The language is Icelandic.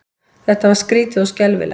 Þetta var skrýtið og skelfilegt.